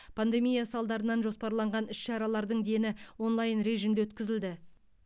пандемия салдарынан жоспарланған іс шаралардың дені онлайн режімде өткізілді